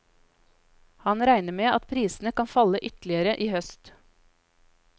Han regner med at prisene kan falle ytterligere i høst.